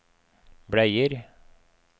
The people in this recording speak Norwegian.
bleier